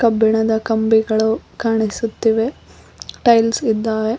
ಳೆದ ಕಂಬಿಗಳು ಕಾಣಿಸುತ್ತಿವೆ ಟೈಲ್ಸ್ ಇದ್ದಾವೆ.